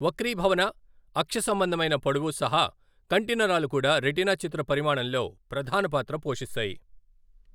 వక్రీభవన, అక్షసంబంధమైన పొడవు సహా కంటి నరాలు కూడా రెటీనా చిత్ర పరిమాణంలో ప్రధాన పాత్ర పోషిస్తాయి.